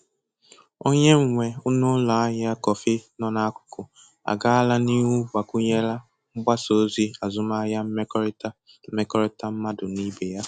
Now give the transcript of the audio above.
Onye nwe n'ụlọ ahịa kọfị nọ n'akụkụ agaala n'ihu gbakwụnyela mgbasa ozi azụmahịa mmekọrịta mmekọrịta mmadụ na ibe ya.